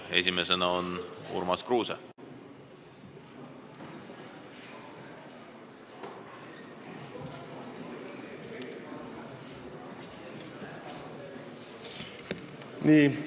Esimesena Urmas Kruuse, palun!